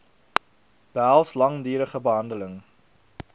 behels langdurige behandeling